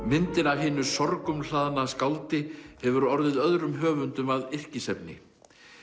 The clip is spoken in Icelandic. myndin af hinu skáldi hefur orðið öðrum höfundum að yrkisefni